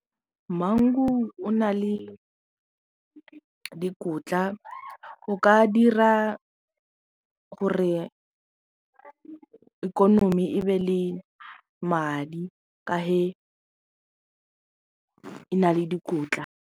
Mangu o na le dikotla o ka dira gore ikonomi e be le madi ka he e na le dikotla.